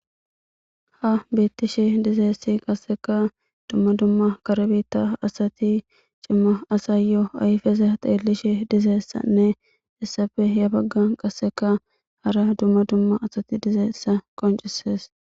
Ha betishe dizaysi qaseka dum duma kare bita asati cima asayo ayfeza xeelishe dizaysanne hessape yabaganka hara duma duma asati dizaysa qocisses